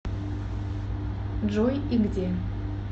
джой и где